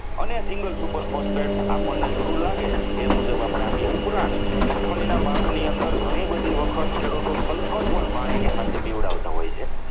અને single super phosphate આ પણ તમને જરૂર લાગે એ મુજબ આપી એ ઉપરાંત મગફળીના પાકની અંદર ઘણી બધી વખત ખેડૂતો sulphur પણ પાણીની સાથે પીવડાવતા હોય છે.